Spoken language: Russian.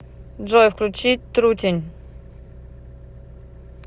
джой включи трутень